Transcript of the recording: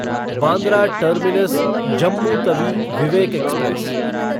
Bandra terminus Jammu Tawi Vivek express